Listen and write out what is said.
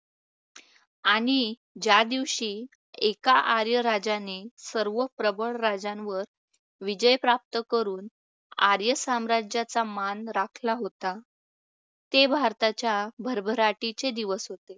आणि ज्या दिवशी एका आर्या राजाने प्रबळ राजांवर विजय प्राप्त करून आर्य साम्राज्याच्या मान राखला होता. ते भारताच्या भरभराटीचे दिवस होते.